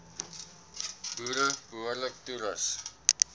boere behoorlik toerus